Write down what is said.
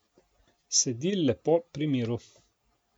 Sedi lepo pri miru.